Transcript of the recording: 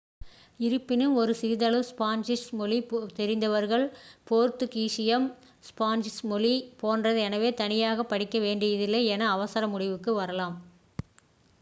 இருப்பினும் ஒரு சிறிதளவு ஸ்பானிஷ் மொழி தெரிந்தவர்கள் போர்த்துகீசியம் ஸ்பானிஷ் மொழி போன்றதே எனவே தனியாக படிக்க வேண்டியதில்லை என அவசர முடிவுக்கு வரலாம்